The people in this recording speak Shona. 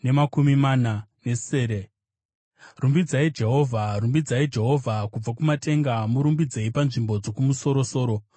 Rumbidzai Jehovha. Rumbidzai Jehovha kubva kumatenga, murumbidzei panzvimbo dzokumusoro-soro.